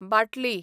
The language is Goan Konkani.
बाटली